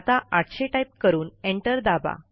आता ८०० टाईप करून एंटर दाबा